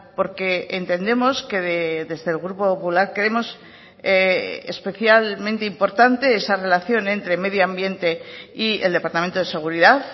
porque entendemos que desde el grupo popular creemos especialmente importante esa relación entre medio ambiente y el departamento de seguridad